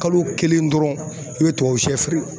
Kalo kelen dɔrɔn, i be tubabu sɛ feere.